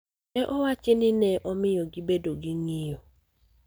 ne owachi ni ne omiyo gibedo gi ng�iyo.